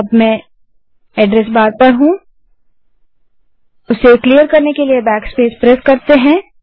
मैं address bar में हूँ और अब मैंने एड्रस बार को क्लिअर करने के लिए बैकस्पेस प्रेस किया है